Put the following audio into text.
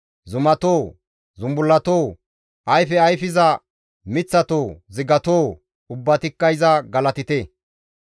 Zumatoo, zumbullatoo, ayfe ayfiza miththatoo, zigatoo ubbatikka iza galatite.